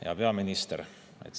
Hea peaminister!